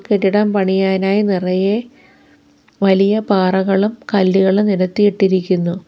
കെട്ടിടം പണിയാനായി നിറയെ വലിയ പാറകളും കല്ലുകളും നിരത്തിയിട്ടിരിക്കുന്നു.